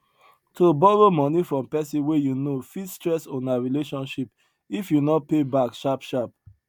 to borrow money from person wey you know fit stress una relationship if you no pay back sharp sharp